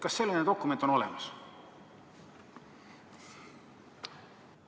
Kas selline materjal on olemas?